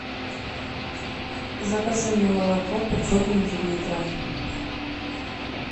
закажи мне молоко пятьсот миллилитров